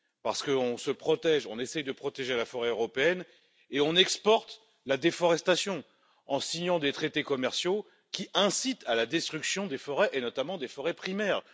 En effet, nous nous protégeons et essayons de protéger la forêt européenne, mais nous exportons la déforestation en signant des traités commerciaux qui incitent à la destruction des forêts et, notamment, des forêts primaires.